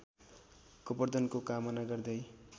गोवर्धनको कामना गर्दै